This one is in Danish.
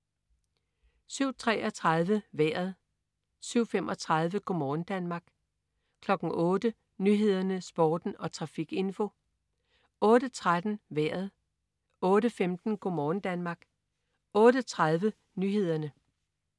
07.33 Vejret (man-fre) 07.35 Go' morgen Danmark (man-fre) 08.00 Nyhederne, Sporten og trafikinfo (man-fre) 08.13 Vejret (man-fre) 08.15 Go' morgen Danmark (man-fre) 08.30 Nyhederne (man-fre)